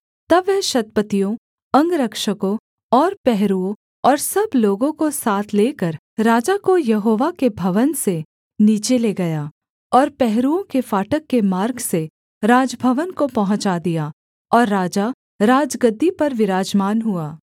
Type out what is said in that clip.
तब वह शतपतियों अंगरक्षकों और पहरुओं और सब लोगों को साथ लेकर राजा को यहोवा के भवन से नीचे ले गया और पहरुओं के फाटक के मार्ग से राजभवन को पहुँचा दिया और राजा राजगद्दी पर विराजमान हुआ